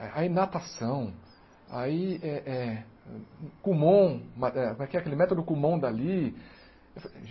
aí natação, aí eh eh kumon, como é que é aquele método kumon dali.